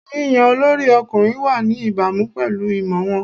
Yíyan olórí ọkùnrin wà ní ìbámu pẹ̀lú ìmọ̀ wọn.